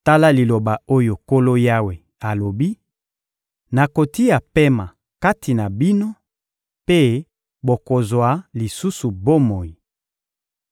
Tala liloba oyo Nkolo Yawe alobi: Nakotia pema kati na bino mpe bokozwa lisusu bomoi.